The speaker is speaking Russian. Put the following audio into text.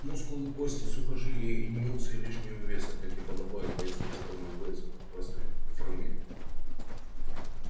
мускулы кости сухожилия и ни унции лишнего веса как и подобает бойцу который находится в прекрасной форме